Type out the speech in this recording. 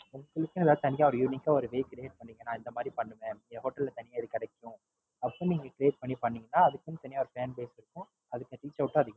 உங்களுக்கே ஏதாவது தனியே unique க்கா ஒரு Way Create பண்ணிங்கனா, நான் இந்த மாறி பண்றேன். என் Hotel ல இது தனியா கிடைக்கும். அப்படி Create பண்ணி பண்ணிங்கனா, அதுக்குன்னு Reachout ம் இருக்கும்.